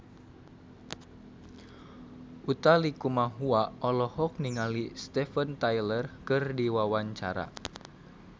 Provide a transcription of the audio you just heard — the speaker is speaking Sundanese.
Utha Likumahua olohok ningali Steven Tyler keur diwawancara